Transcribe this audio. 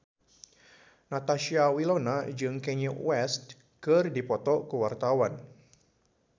Natasha Wilona jeung Kanye West keur dipoto ku wartawan